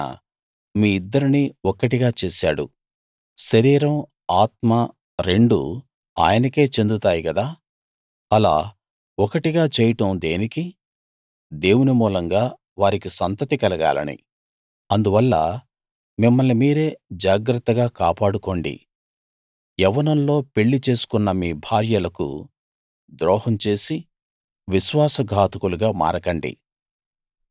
ఆయన మీ ఇద్దరినీ ఒక్కటిగా చేశాడు శరీరం ఆత్మ రెండూ ఆయనకే చెందుతాయి గదా అలా ఒకటిగా చేయడం దేనికి దేవుని మూలంగా వారికి సంతతి కలగాలని అందువల్ల మిమ్మల్ని మీరే జాగ్రత్తగా కాపాడుకోండి యవ్వనంలో పెళ్లి చేసుకున్న మీ భార్యలకు ద్రోహం చేసి విశ్వాస ఘాతకులుగా మారకండి